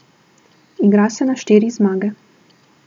Igra se na štiri zmage.